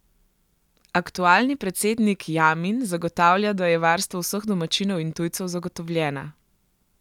Aktualni predsednik Jamin zagotavlja, da je varnost vseh domačinov in tujcev zagotovljena.